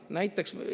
Näiteks …